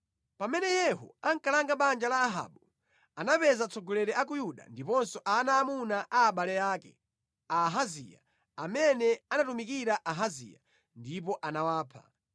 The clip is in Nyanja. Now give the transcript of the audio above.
Pamene Yehu ankalanga banja la Ahabu anapeza atsogoleri a ku Yuda ndiponso ana aamuna a abale ake a Ahaziya amene amatumikira Ahaziya, ndipo anawapha.